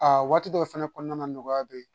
Aa waati dɔw fɛnɛ kɔnɔna na nɔgɔya bɛ yen